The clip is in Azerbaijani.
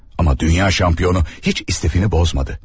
Amma dünya şampiyonu heç istifini pozmadı.